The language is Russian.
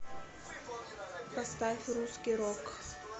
поставь русский рок